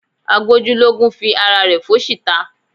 Agbójúlógún fi ara rẹ̀ fóṣì ta